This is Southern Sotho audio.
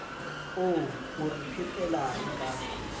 oo o re phetelang ka